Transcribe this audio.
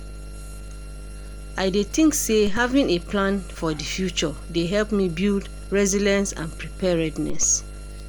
I dey think say having a plan for di future dey help me build resilience and preparedness.